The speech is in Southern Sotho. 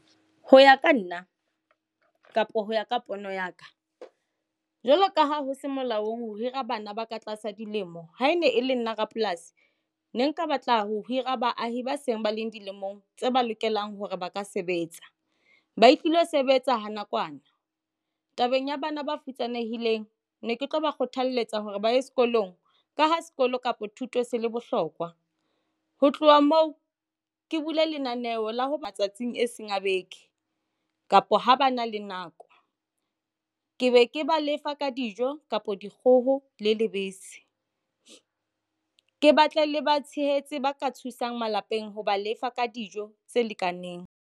Ho ya ka nna kapa ho ya ka pono ya ka jwalo ka ha ho se molaong ho hira bana ba ka tlasa dilemo ha e ne e le nna rapolasi ne nka batla ho hira baahi ba seng ba leng dilemong tse ba lokelang hore ba ka sebetsa ba ilo sebetsa ha nakwana. Tabeng ya bana ba futsanehileng ne ke tlo ba kgothaletsa hore ba ye sekolong ka ho sekolo kapa thuto se le bohlokwa ho tloha moo ke bule lenaneo la ho matsatsing e seng a be beke kapo ba na le nako ke be ke ba lefa ka dijo kapa dikgoho le lebese. Ke batla le batshehetse ba ka thusang malapeng ha ba lefa ka dijo tse lekaneng.